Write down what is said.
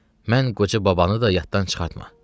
Mən qoca babanı da yaddan çıxartma.